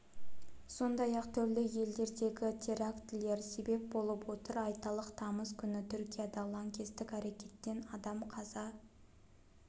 сондай-ақ түрлі елдердегі терактілер себеп болып отыр айталық тамыз күні түркияда лаңкестік әрекеттен адам қаза